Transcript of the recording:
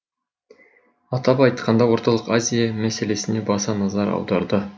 атап айтқанда орталық азия мәселесіне баса назар аударды